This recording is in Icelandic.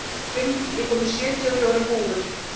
Hrund, ég kom með sjötíu og fjórar húfur!